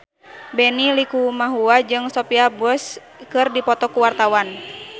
Benny Likumahua jeung Sophia Bush keur dipoto ku wartawan